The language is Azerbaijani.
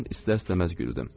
Mən istər-istəməz güldüm.